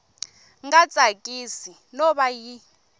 nga tsakisi no va yi